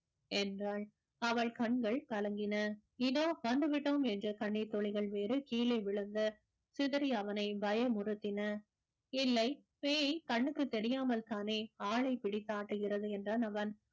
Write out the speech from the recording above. என்றாள் அவள் கண்கள் கலங்கின இதோ வந்து விட்டோம் என்று கண்ணீர் துளிகள் வேறு கீழே விழுந்து சிதறிய அவனை பயமுறுத்தின இல்லை பேய் கண்ணுக்குத் தெரியாமல்தானே ஆளைப் பிடித்தாட்டுகிறது என்றான் அவன்